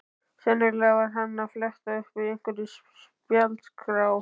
Sennilega var hann að fletta upp í einhverri spjaldskrá.